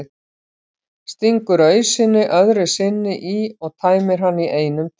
Stingur ausunni öðru sinni í og tæmir hana í einum teyg.